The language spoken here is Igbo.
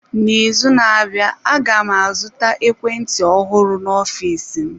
Na ịzụ na-abịa, aga m azụta ekwentị ọhụrụ n'ọfịs m.